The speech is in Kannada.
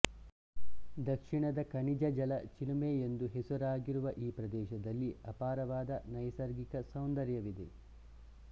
ದಕ್ಷಿಣದ ಖನಿಜಜಲ ಚಿಲುಮೆ ಎಂದು ಹೆಸರಾಗಿರುವ ಈ ಪ್ರದೇಶದಲ್ಲಿ ಅಪಾರವಾದ ನೈಸರ್ಗಿಕ ಸೌಂದರ್ಯವಿದೆ